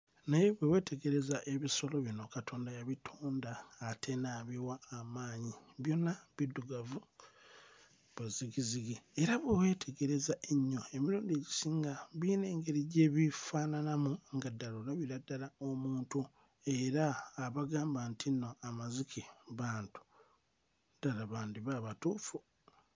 Naye bwe weetegereza ebisolo bino Katonda yabitonda ate n'abiwa amaanyi byonna biddugavu bwe zzigizzigi era bwe weetegereza ennyo emirundi egisinga biyina engeri gye bifaananamu nga ddala olabira ddala omuntu era abagamba nti nno amazike bantu ddala bandiba abatuufu.